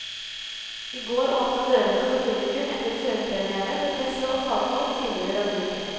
I går åpnet dørene for publikum etter førpremière for presse og fagfolk tidligere denne uken.